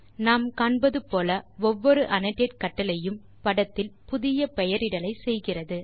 நாம் காண்பது போல ஒவ்வொரு அன்னோடேட் கட்டளை யும் படத்தில் புதிய பெயரிடலை செய்கிறது